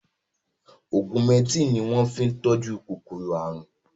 Ọgúmẹtìn ni wọ́n fi tọ́jú kòkòrò àrùn